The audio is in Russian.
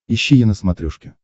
ищи е на смотрешке